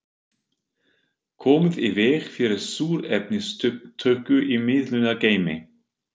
Komið í veg fyrir súrefnisupptöku í miðlunargeymi